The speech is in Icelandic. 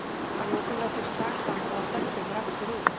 Að lokum læt ég slag standa og dembi mér aftur út.